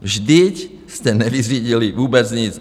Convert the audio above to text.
Vždyť jste nevyřídili vůbec nic.